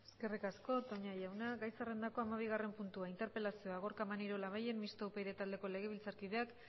eskerrik asko toña jauna gai zerrendako hamabigarren puntua interpelazioa gorka maneiro labayen mistoa upyd taldeko legebiltzarkideak